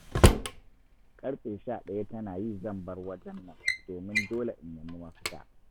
Ƙarfe sha daya tana yi zan bar wajen nan domin dole in nemi mafita.